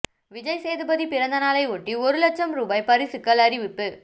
விஜய் சேதுபதி பிறந்த நாளை ஒட்டி ஒரு லட்ச ரூபாய் பரிசுகள் அறிவிப்பு